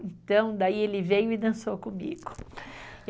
Então, daí ele veio e dançou comigo.